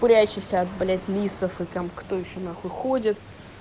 прячешься от блять лисов и там кто ещё на хуй ходит